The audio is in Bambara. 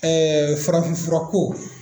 farafin furako